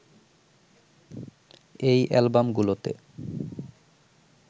এই অ্যালবামগুলোতে